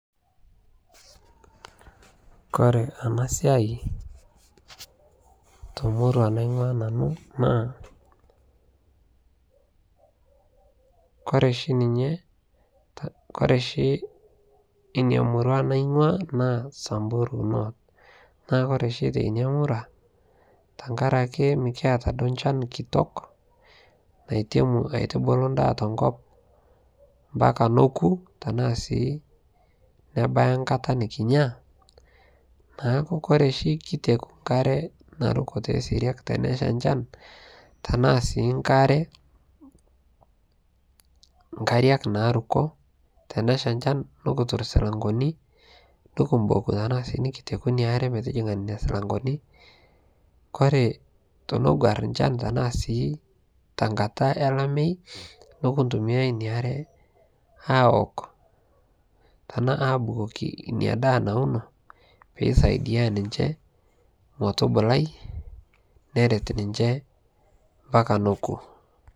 kore anaa siai tomurua naingua nanuu naa kore shi ninyee, kore shi inia murua naingua samburu North naa kore shi teinia murua tankarakee mikiata duo nchan kitok naitemuu aitubuluu ndaa tonkop mpaka nokuu tanaa sii nebayaa nkataa nikinyaa naaku kore shi kitekuu nkaree narukoo te seriak teneshaa nchan tanaa sii nkariak narukoo, teneshaa nchan nukutur silankonii nukumbokuu tanaa sii nikitekuu inia aree metijingaa nenia silangonii, kore tonoguar nchan tanaa sii tankataa elamei nukuntumia inia aree awok tanaa abukokii inia daa nauno peisaidia ninchee motubulai neret ninchee mpakaa nokuu.